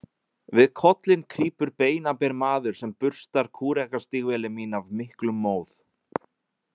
Við kollinn krýpur beinaber maður sem burstar kúrekastígvélin mín af miklum móð.